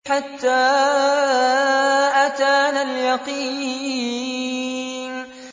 حَتَّىٰ أَتَانَا الْيَقِينُ